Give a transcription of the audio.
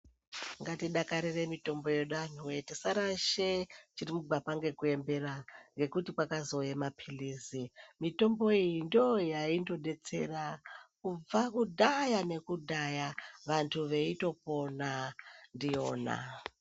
Ngatidakarire mitombo yedu tisarashe chiri mugwapa nekuombera ngekuti kwakazouya mapirizi mitombo iyi ndoyaindodetsera kubva kudhaya nekudhaya vantu veitopona ndiyona.